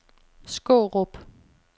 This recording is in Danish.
Skårup